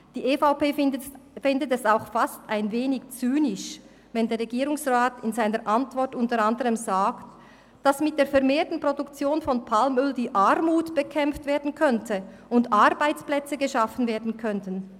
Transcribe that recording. Die EVP findet es auch fast ein wenig zynisch, wenn der Regierungsrat in seiner Antwort unter anderem sagt, dass mit der vermehrten Produktion von Palmöl die Armut bekämpft werden könne und Arbeitsplätze geschaffen werden könnten.